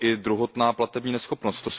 Je to druhotná platební neschopnost.